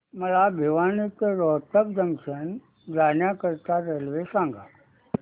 मला भिवानी ते रोहतक जंक्शन जाण्या करीता रेल्वे सांगा